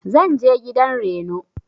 zanje gidan Reno.